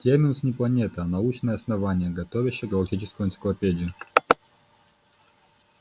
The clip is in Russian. терминус не планета а научное основание готовящее галактическую энциклопедию